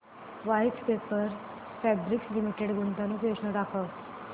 Voith paper fabrics limited गुंतवणूक योजना दाखव